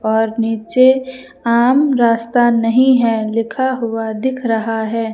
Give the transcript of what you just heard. और नीचे आम रास्ता नहीं है लिखा हुआ दिख रहा है।